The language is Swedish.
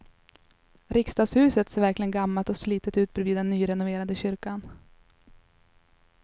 Riksdagshuset ser verkligen gammalt och slitet ut bredvid den nyrenoverade kyrkan.